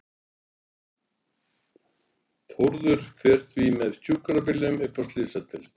Þórður fer því með sjúkrabílnum upp á slysadeild.